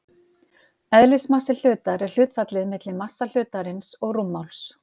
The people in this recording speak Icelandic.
Eðlismassi hlutar er hlutfallið milli massa hlutarins og rúmmáls.